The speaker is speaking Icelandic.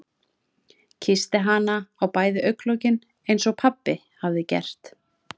Kyssti hana á bæði augnalokin einsog pabbi hafði gert.